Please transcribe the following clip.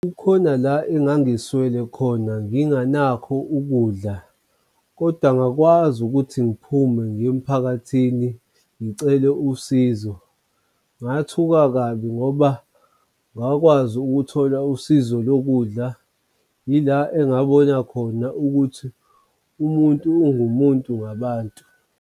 Kukhona la engangiswele khona ngingenakho ukudla, kodwa ngakwazi ukuthi ngiphume ngiye emphakathini ngicele usizo ngathuka kabi ngoba ngakwazi ukuthola usizo lokudla. Yila engabona khona ukuthi umuntu ungumuntu ngabantu.